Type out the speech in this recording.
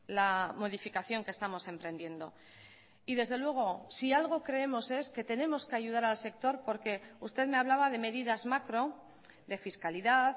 la modificación que estamos emprendiendo y desde luego si algo creemos es que tenemos que ayudar al sector porque usted me hablaba de medidas macro de fiscalidad